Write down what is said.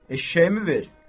Eşşəyimi ver.